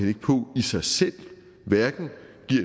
ikke på i sig selv giver hverken